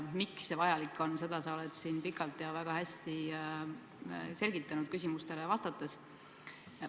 Miks see vajalik on, seda oled sa siin küsimustele vastates pikalt ja väga hästi selgitanud.